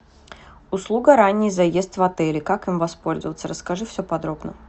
услуга ранний заезд в отеле как им воспользоваться расскажи все подробно